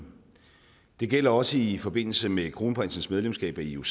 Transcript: det gælder også i forbindelse med kronprinsens medlemskab af ioc